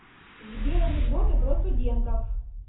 сбер анекдоты про студентов